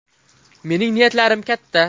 Mening niyatlarim katta.